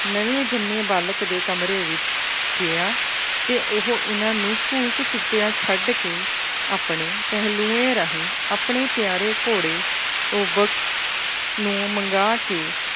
ਨਵੇਂ ਜੰਮੇ ਬਾਲਕ ਦੇ ਕਮਰੇ ਵਿੱਚ ਗਿਆ ਅਤੇ ਉਹ ਇਹਨਾ ਨੂੰ ਘੂਕ ਸੁੱਤਿਆਂ ਛੱਡ ਕੇ ਆਪਣੇ ਪਹਿਲੂਏਂ ਰਾਹੀਂ ਆਪਣੇ ਪਿਆਰੇ ਘੋੜੇ ਓਬਕ ਨੂੰ ਮੰਗਾ ਕੇ